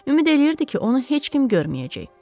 Ümid eləyirdi ki, onu heç kim görməyəcək.